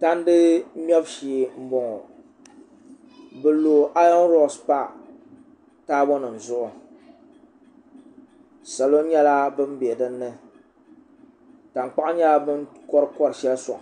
tandi mɛbu shee n boŋo bi lo ayon roks pa taabo nim zuɣu salo nyɛla bin bɛ dinni tankpaɣu nyɛla bin kori kori shɛli soŋ